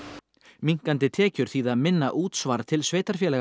minnkandi tekjur þýða minna útsvar til sveitarfélaganna